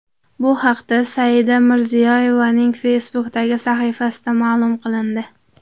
Bu haqda Saida Mirziyoyevaning Facebook’dagi sahifasida ma’lum qilindi .